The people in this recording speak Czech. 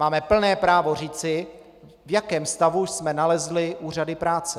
Máme plné právo říci, v jakém stavu jsme nalezli úřady práce.